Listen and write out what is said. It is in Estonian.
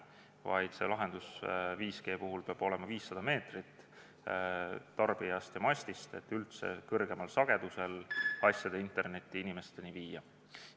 5G puhul peab tarbija ja masti vaheline kaugus olema 500 meetrit, et kõrgemal sagedusel asjade internetti üldse inimesteni viia.